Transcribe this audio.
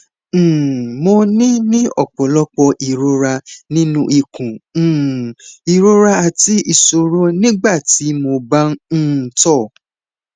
um mo ní ní ọpọlọpọ ìrora nínú ikùn um ìrora àti ìṣòro nígbà tí mo bá ń um tọ